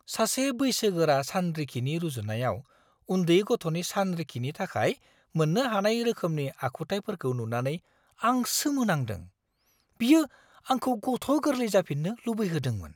सासे बैसोगोरा सानरिखिनि रुजुनायाव उन्दै गथ'नि सानरिखिनि थाखाय मोन्नो हानाय रोखोमनि आखुथायफोरखौ नुनानै आं सोमोनांदों। बियो आंखौ गथ'-गोरलै जाफिननो लुबैहोदोंमोन!